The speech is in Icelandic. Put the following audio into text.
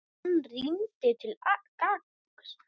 Og hann rýndi til gagns.